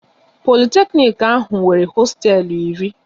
Politeknic ahụ nwere hosteelu iri